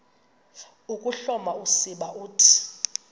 ukuhloma usiba uthi